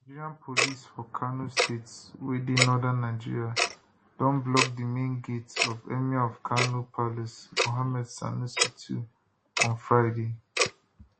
nigerian police for kano state wey dey northern nigeria don block di main gate of emir of kano palace muhammadu sanusi ii on friday